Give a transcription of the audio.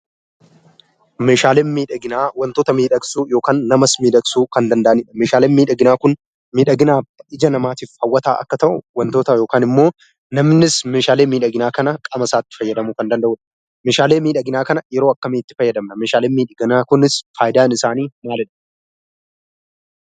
Meeshaaleen miidhaginaa wantoota miidhagsuuf yookaan namas miidhagsuu kan danda'anidha. Meeshaaleen miidhaginaa kun miidhaginaaf ija namaatiif yoo ta'u, namnis meeshaalee miidhaginaa kana qaamasaatti fayyadamuu kan danda'udha. Meeshaalee miidhaginaa kana yeroo akkamitti fayyadamna? Meeshaaleen miidhaginaa kunis faayidaan isaanii maalidha?